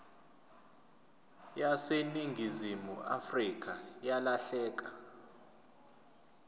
yaseningizimu afrika yalahleka